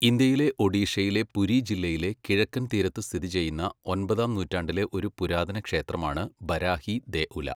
ഇന്ത്യയിലെ ഒഡീഷയിലെ പുരി ജില്ലയിലെ കിഴക്കൻ തീരത്ത് സ്ഥിതിചെയ്യുന്ന ഒമ്പതാം നൂറ്റാണ്ടിലെ ഒരു പുരാതന ക്ഷേത്രമാണ് ബരാഹി ദേഉല.